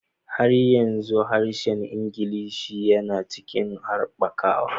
Har yanzu harshen Ingilishi yana cikin haɓakawa